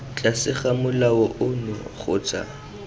tlase ga molao ono kgotsa